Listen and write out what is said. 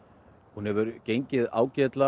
hún hefur gengið ágætlega